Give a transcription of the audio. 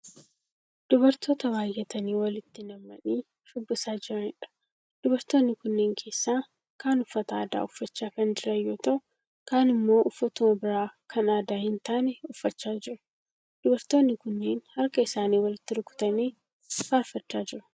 Dubartoota baayyatanii walitti nammanii shubbisaa jiraniidha. Dubartoonni kunneen keessaa kaan uffata aadaa uffachaa kan jiran yoo ta'u kaan immoo uffatuma biraa kan aadaa hin taane uffachaa jiru. Dubartoonni kunneen harka isaanii walitti rukutanii faarfachaa jiru.